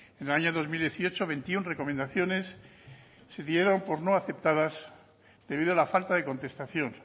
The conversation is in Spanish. en el año dos mil dieciocho veintiuno recomendaciones se dieron por no aceptadas debido a la falta de contestación